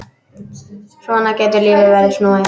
Svona getur lífið verið snúið.